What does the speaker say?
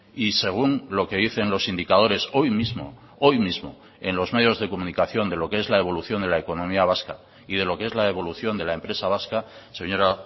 y según lo que dicen los indicadores hoy mismo hoy mismo en los medios de comunicación de lo que es la evolución de la economía vasca y de lo que es la evolución de la empresa vasca señora